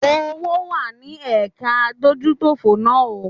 Owó wá ní ẹ̀ka adójútòfò náà o.